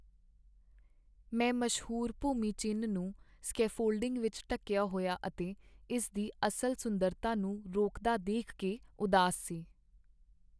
ਮੈਂ ਮਸ਼ਹੂਰ ਭੂਮੀ ਚਿੰਨ੍ਹ ਨੂੰ ਸਕੈਫੋਲਡਿੰਗ ਵਿੱਚ ਢੱਕਿਆ ਹੋਇਆ ਅਤੇ ਇਸ ਦੀ ਅਸਲ ਸੁੰਦਰਤਾ ਨੂੰ ਰੋਕਦਾ ਦੇਖ ਕੇ ਉਦਾਸ ਸੀ।